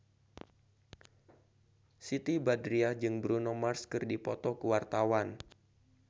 Siti Badriah jeung Bruno Mars keur dipoto ku wartawan